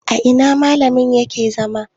a ina malamin yake zama?